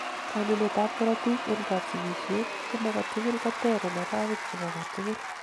bwanunet ab korotik en kapsigisiet chemokatugul koter en arowek chebo katugul